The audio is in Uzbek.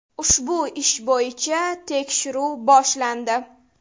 Ushbu ish bo‘yicha tekshiruv boshlandi.